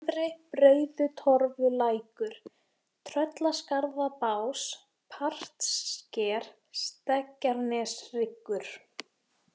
Fremri-Breiðutorfulækur, Tröllaskarðabás, Partssker, Stekkjarneshryggur